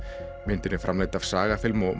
myndin er framleidd af SagaFilm og